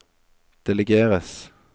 delegeres